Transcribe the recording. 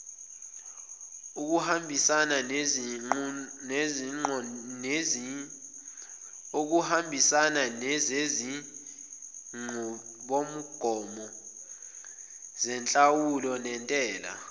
okuhambisananezinqubomgomo zenhlawulo nentela